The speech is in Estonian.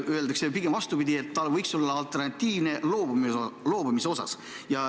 Öeldakse, et pigem vastupidi: see võiks olla alternatiivne võimalus loobumiseks.